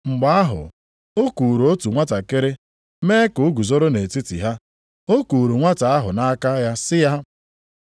Mgbe ahụ o kuuru otu nwantakịrị mee ka o guzoro nʼetiti ha. O kuuru nwata ahụ nʼaka ya sị ha,